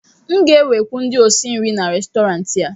m ga-ewekwu ndị osi nri n'Restọrantị a